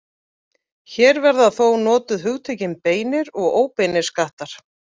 Hér verða þó notuð hugtökin beinir og óbeinir skattar.